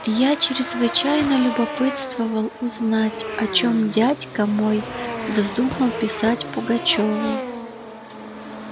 я чрезвычайно любопытствовал узнать о чём дядька мой вздумал писать пугачёву